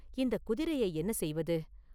இந்தக் குதிரையை என்ன செய்வது?